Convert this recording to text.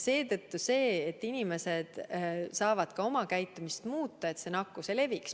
Seetõttu saavad inimesed ka oma käitumist muuta, et see nakkus ei leviks.